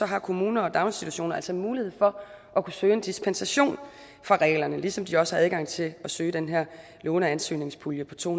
har kommunerne og daginstitutionerne altså mulighed for at søge en dispensation fra reglerne ligesom de også har adgang til at søge den her låneansøgningspulje på to